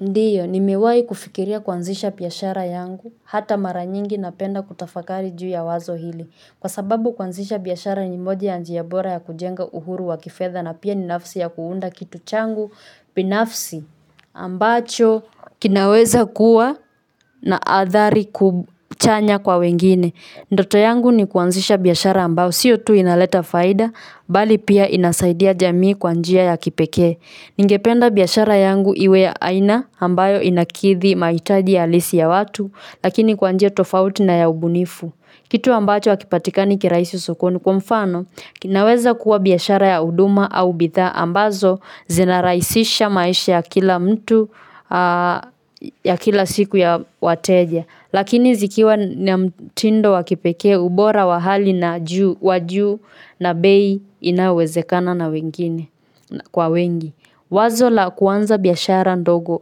Ndiyo, nimewahi kufikiria kuanzisha biashara yangu. Hata mara nyingi napenda kutafakari juu ya wazo hili, kwa sababu kuanzisha biashara ni mojawapo ya njia bora za kujenga uhuru wa kifedha, na pia ni nafasi ya kuunda kitu changu. Binafsi ambacho kinaweza kuwa na adhari chanya kwa wengine, ndoto yangu ni kuanzisha biashara ambayo sio tu inaleta faida, bali pia inasaidia jamii kwa njia ya kipekee. Ningependa biashara yangu iwe ya aina ambayo inakidhi mahitaji halisi ya watu, lakini kwa njia tofauti na ya ubunifu. Kitu ambacho hakipatika ni kirahisi sokoni kwa mfano. Kitu ambacho akipatika ni kirahisi sokoni kwa mfano ya kila siku ya wateja, lakini zikiwa na mtindo wa kipekee, ubora wa hali ya juu, na bei inayowezekana kwa watu wengi. Wazo la kuanzisha biashara ndogo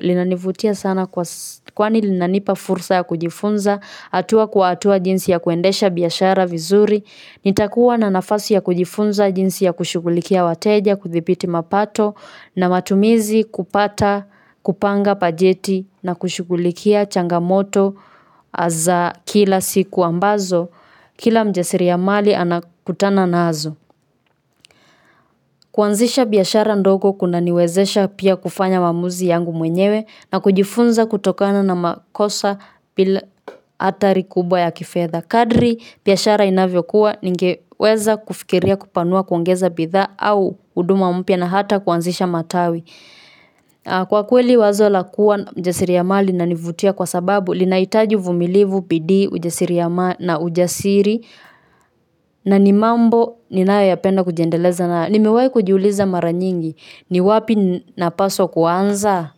linanifurahisha sana. Kwani linanipa fursa ya kujifunza hatua kwa hatua jinsi ya kuendesha biashara vizuri. Nitakuwa na nafasi ya kujifunza jinsi ya kushughulikia wateja, kudhibiti mapato na matumizi, kupanga bajeti, na kushughulikia changamoto za kila siku ambazo kila mfanyabiashara hukutana nazo. Kuanzisha biashara ndogo kunaniwezesha pia kufanya maamuzi yangu mwenyewe na kujifunza kutokana na makosa bila kuwa na athari kubwa za kifedha. Kadiri biashara inavyokua, ningeweza kufikiria kuipanua, kuongeza bidhaa au huduma mpya, na hata kuanzisha matawi. Kwa kweli, wazo la kuwa na ujasiriamali linanifurahisha kwa sababu ujasiriamali unahitaji ujasiri, na ujasiri ni mojawapo ya mambo ninayopenda kujijengea na kuyaendeleza. Nimewahi kujiuliza mara nyingi ni wapi ninapaswa kuanzia.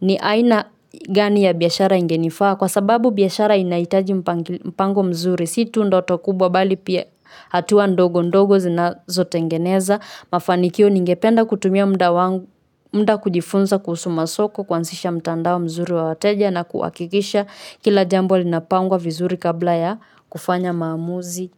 Ni aina gani ya biashara ambayo ingenifaa? Kwa sababu biashara inahitaji mpango mzuri, si ndoto kubwa tu, bali pia hatua ndogo ndogo zinazojenga mafanikio. Ningependa kutumia muda kujifunza kusoma soko, kuanzisha mtandao mzuri wa wateja, na kuhakikisha kila jambo linapangwa vizuri kabla ya kufanya maamuzi.